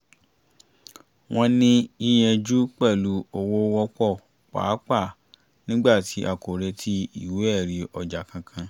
wọ́n ní yíyanjú pẹ̀lú owó wọ́pọ̀ pàápàá nígbàtí a kò retí ìwé ẹ̀rí ọjà kankan